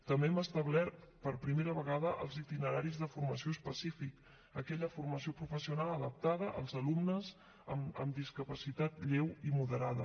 també hem establert per primera vegada els itineraris de formació específica aquella formació professional adaptada als alumnes amb discapacitat lleu i moderada